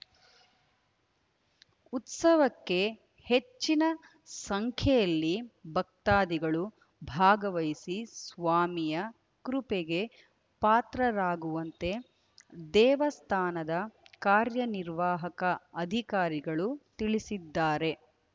ಉತ್ಸವಕ್ಕೆ ಹೆಚ್ಚಿನ ಸಂಖ್ಯೆಯಲ್ಲಿ ಭಕ್ತಾದಿಗಳು ಭಾಗವಹಿಸಿ ಸ್ವಾಮಿಯ ಕೃಪೆಗೆ ಪಾತ್ರರಾಗುವಂತೆ ದೇವಸ್ಥಾನದ ಕಾರ್ಯನಿರ್ವಾಹಕ ಅಧಿಕಾರಿಗಳು ತಿಳಿಸಿದ್ದಾರೆ